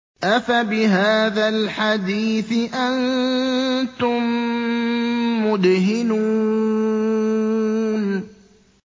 أَفَبِهَٰذَا الْحَدِيثِ أَنتُم مُّدْهِنُونَ